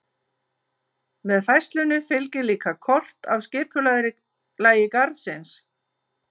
Með færslunni fylgir líka kort af skipulagi garðsins.